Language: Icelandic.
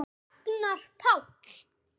Ragnar Páll.